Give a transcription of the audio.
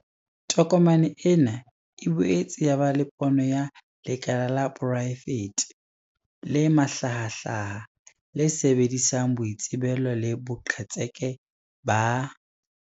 Tokomane ena e boetse ya ba le pono ya 'lekala la poraefete le mahlahahlaha, le sebedisang boitsebelo le boqhetseke ba.